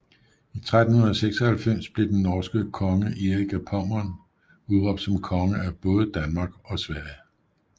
I 1396 blev den norske konge Erik af Pommern udråbt som konge af både Danmark og Sverige